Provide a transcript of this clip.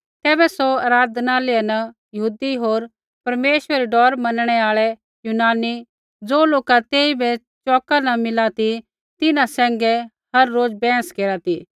तैबै सौ आराधनालय न यहूदी होर परमेश्वरा री डौर मनणै आल़ै यूनानी ज़ो लोका तेइबै चौका न मिला ती तिन्हां सैंघै हर रोज़ बैहस केरा ती